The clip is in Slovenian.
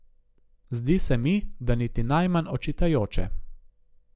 Zdi se mi, da niti najmanj očitajoče.